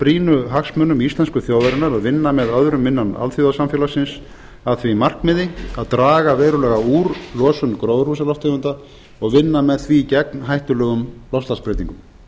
brýnu hagsmunum íslensku þjóðarinnar að vinna með öðrum innan alþjóðasamfélagsins að því markmiði að draga verulega úr losun gróðurhúsalofttegunda og vinna með því gegn hættulegum loftslagsbreytingum